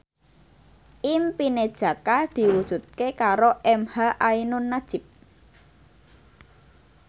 impine Jaka diwujudke karo emha ainun nadjib